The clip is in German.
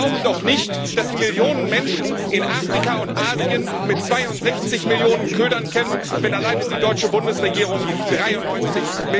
Sie glauben doch nicht, dass Sie Millionen Menschen in Afrika und Asien mit 62 Milliarden ködern können, wenn alleine die deutsche Bundesregierung 93